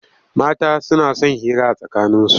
Mata suna son hira a tsakaninsu.